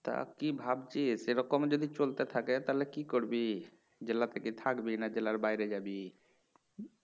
তা কি ভাবছিস এরকম যদি চলতে থাকে তাহলে কি করবি? জেলাতে কি থাকবি না জেলার বাইরে যাবি?